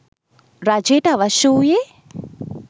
රජයට අවශ්‍ය වූයේ